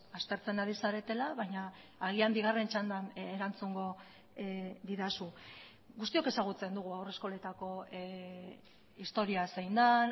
aztertzen ari zaretela baina agian bigarren txandan erantzungo didazu guztiok ezagutzen dugu haurreskoletako historia zein den